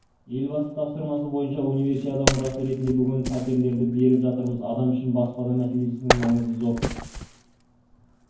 елбасы тапсырмасы бойынша универсиада мұрасы ретінде бүгін птерлерді беріп жатырмыз адам үшін баспана мселесінің маңызы зор